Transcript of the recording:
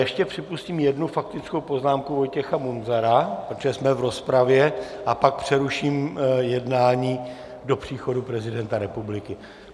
Ještě připustím jednu faktickou poznámku Vojtěcha Munzara, protože jsme v rozpravě, a pak přeruším jednání do příchodu prezidenta republiky.